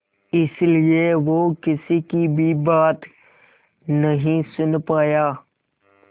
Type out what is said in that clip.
इसलिए वो किसी की भी बात नहीं सुन पाया